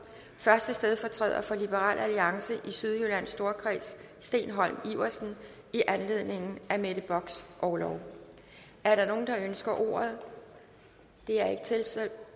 første stedfortræder for liberal alliance i sydjyllands storkreds steen holm iversen i anledning af mette bocks orlov er der nogen der ønsker ordet det er